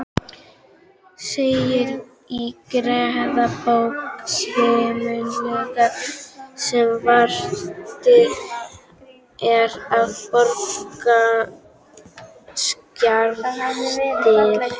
segir í gerðabók Samvinnunefndar, sem varðveitt er á Borgarskjalasafni.